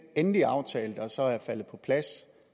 endelige aftale der så er faldet på plads